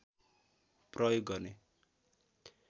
प्रयोग गर्ने